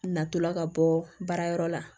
Natɔla ka bɔ baara yɔrɔ la